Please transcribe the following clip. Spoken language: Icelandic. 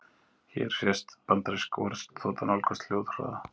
Hér sést bandarísk orrustuþota nálgast hljóðhraða.